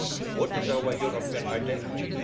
What is our European identity?